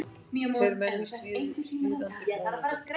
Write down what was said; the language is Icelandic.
Tveir hermenn í stríðandi búningum.